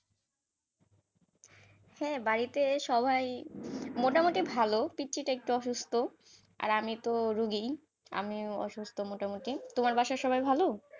হ্যাঁ বাড়িতে সবাই মোটামুটি ভালো পিচ্চিটা একটু অসুস্থ, আর আমি তো রুগি, আমি তো অসুস্থ মোটামুটি, তোমার বাসায় সবাই ভালো?